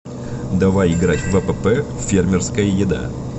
давай играть в апп фермерская еда